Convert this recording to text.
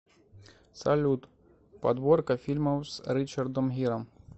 салют подборка фильмов с ричадром гиром